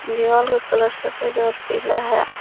दीवाल का कलर सफेद और पीला है।